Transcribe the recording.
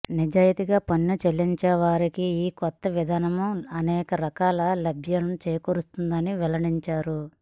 నిజాయితీగా పన్ను చెల్లించేవారికి ఈ కొత్త విధానం అనేక రకాలుగా లబ్ధి చేకూరుస్తుందని వెల్లడించారు